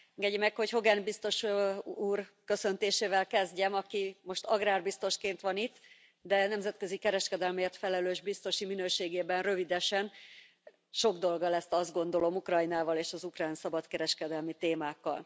Engedjék meg, hogy Hogan biztos úr köszöntésével kezdjem, aki most agrárbiztosként van itt, de nemzetközi kereskedelemért felelős biztosi minőségében rövidesen sok dolga lesz, azt gondolom, Ukrajnával és az ukrán szabadkereskedelmi témákkal.